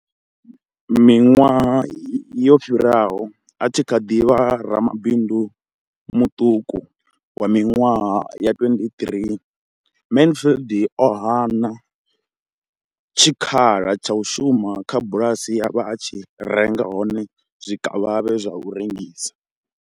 Miṅwaha ya fumi yo fhiraho, a tshi kha ḓi vha ramabindu muṱuku wa miṅwaha ya 23, Mansfield o hana tshikhala tsha u shuma kha bulasi ye a vha a tshi renga hone zwikavhavhe zwa u rengisa.